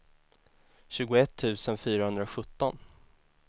tjugoett tusen fyrahundrasjutton